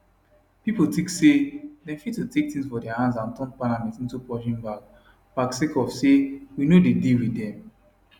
pipo tink say dem fit to take tins for dia hands and turn parliament into punching bag bag sake of we no dey deal wit dem